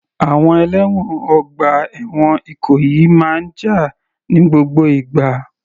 Àwọn ẹlẹ́wọ̀n ọgbà ẹ̀wọ̀n Ìkòyí máa jà ní gbogbo ìgbà.